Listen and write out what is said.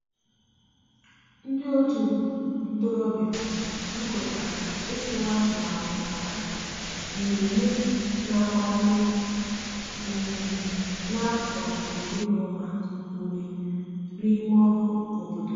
ndi otu ntorobia zukotara itu atụmatụ maka mmeme na agba ndi um n'afo iri na uma ume n'ime ọrụ obodo.